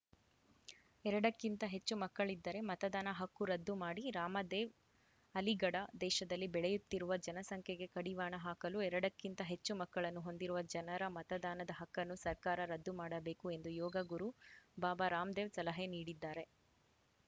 ಎರಡಕ್ಕಿಂತ ಹೆಚ್ಚು ಮಕ್ಕಳಿದ್ದರೆ ಮತದಾನ ಹಕ್ಕು ರದ್ದು ಮಾಡಿ ರಾಮ ದೇವ್‌ ಅಲಿಗಢ ದೇಶದಲ್ಲಿ ಬೆಳೆಯುತ್ತಿರುವ ಜನಸಂಖ್ಯೆಗೆ ಕಡಿವಾಣ ಹಾಕಲು ಎರಡಕ್ಕಿಂತ ಹೆಚ್ಚು ಮಕ್ಕಳನ್ನು ಹೊಂದಿರುವ ಜನರ ಮತದಾನದ ಹಕ್ಕನ್ನು ಸರ್ಕಾರ ರದ್ದು ಮಾಡಬೇಕು ಎಂದು ಯೋಗ ಗುರು ಬಾಬಾ ರಾಮದೇವ್‌ ಸಲಹೆ ನೀಡಿದ್ದಾರೆ